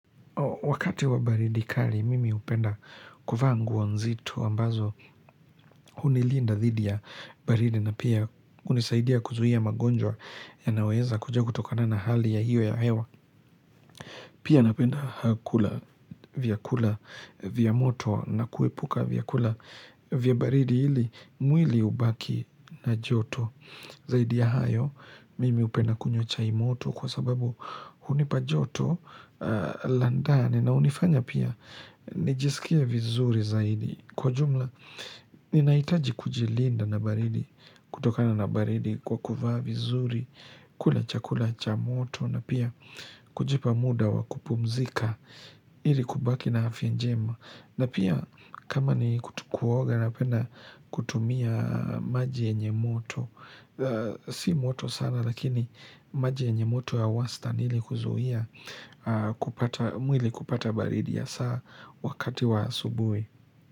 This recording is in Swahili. Wakati wa baridi kali mimi hupenda kuvaa nguo nzito ambazo hunilinda dhidi ya baridi na pia hunisaidia kuzuia magonjwa yanaweza kuja kutokana na hali ya hiyo ya hewa. Pia napenda kula vyakula vya moto na kuepuka vyakula vya baridi ili mwili ubaki na joto. Zaidi ya hayo, mimi hupenda kunywa chai moto kwa sababu hunipa joto la ndani na hunifanya pia nijisikie vizuri zaidi. Kwa jumla, ninahitaji kujilinda na baridi, kutokana na baridi kwa kuvaa vizuri, kula chakula cha moto na pia kujipa muda wa kupumzika ili kubaki na afya njema. Na pia kama ni kuoga napenda kutumia maji yenye moto Si moto sana lakini maji yenye moto ya wastani ili kuzuia mwili kupata baridi ya saa wakati wa asubuhi.